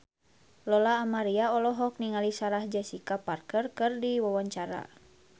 Lola Amaria olohok ningali Sarah Jessica Parker keur diwawancara